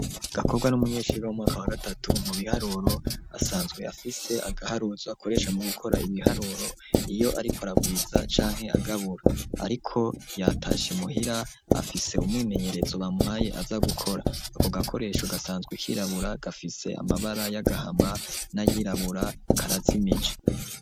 Gakobwa n'umunyenshure wo mu mwaka wa gatatu mu biharuro, asanzwe afise agaharuzo akoresha mu gukora ibiharuro iyo ariko aragwiza canke agabura, ariko yatasha imuhira afise umwimenyerezo bamuhaye aza gukora, ako gakoresho gasanzwe kirabura, gafise amabara y'agahama n'ayirabura, karazimije.